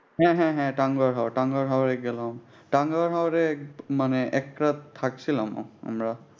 হ্যাঁ হ্যাঁ হ্যাঁ টাঙ্ঘর হাওয়। টাঙ্ঘর হাওয়ে গেলাম। টাঙ্ঘর হাওয়ে মানি একরাত থাকছিলাম ও আমরা।